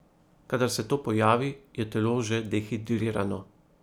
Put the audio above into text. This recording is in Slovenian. Kadar se to pojavi, je telo že dehidrirano.